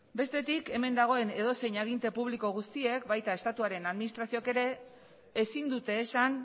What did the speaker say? bestetik hemen dagoen edozein aginte publiko guztiek baita estatuaren administrazioek ere ezin dute esan